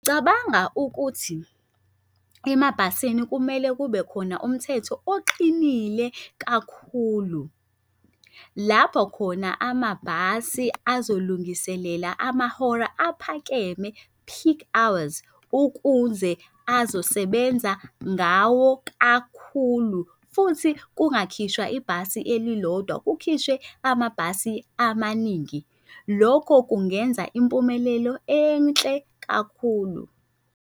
Cabanga ukuthi emabhasini kumele kube khona umthetho oqinile kakhulu lapho khona amabhasi abazolungiselela amahora aphakeme, peak hours, ukuze azosebenza ngawo kakhulu futhi kungakhishwa ibhasi elilodwa kukhishwe amabhasi amaningi. Lokho kungenza impumelelo enhle kakhulu.